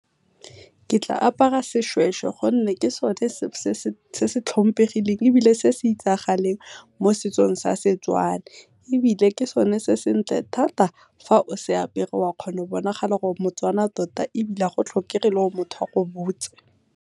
Ke tla apara seshweshwe gonne ke sone se se tlhomphegileng ebile se se itsagaleng mo setsong sa Setswana, ebile ke sone se sentle thata fa o se apere oa kgona go bonagala gore o Motswana tota ebile ga go tlhokege le gore motho a go botse.